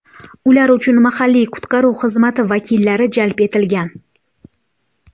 Ular uchun mahalliy qutqaruv xizmati vakillari jalb etilgan.